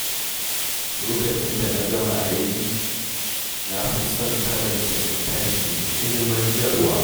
Lokacin da na gama aiki, na fi son karanta littafi mai ilmantarwa.